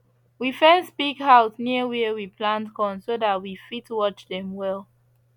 we fence pig house near where we plant corn so we fit watch dem well